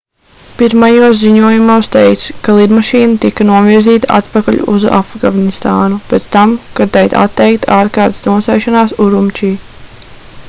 pirmajos ziņojumos teikts ka lidmašīna tika novirzīta atpakaļ uz afganistānu pēc tam kad tai atteikta ārkārtas nosēšanās urumči